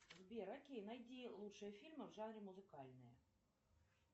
сбер окей найди лучшие фильмы в жанре музыкальные